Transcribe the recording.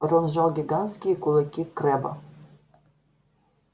рон сжал гигантские кулаки крэбба